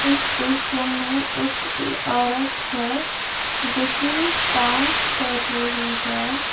इस दृश्य मे एक औरत है जो कि डांस कर रही हैं।